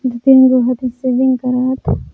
दुतीनगो हथि सेविंग करत --